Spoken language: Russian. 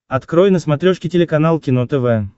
открой на смотрешке телеканал кино тв